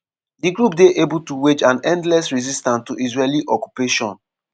"di group dey able to wage an endless resistance to israeli occupation.